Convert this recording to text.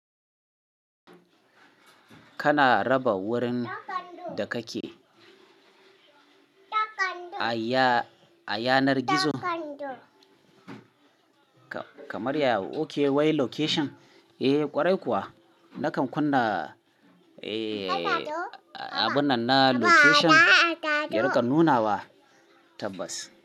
Kana raba wurin da kake a yanar gizo? Kamar yaya oke wai location? Eh kwarai kuwa nakan kunna abun nan na location. Yarin ka nuna wa? Tabbas.